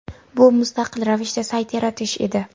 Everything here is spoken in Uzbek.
Bu – mustaqil ravishda sayt yaratish edi.